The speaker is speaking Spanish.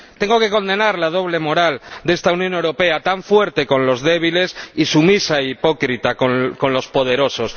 Tengo que condenar la doble moral de esta Unión Europea, tan fuerte con los débiles y sumisa e hipócrita con los poderosos.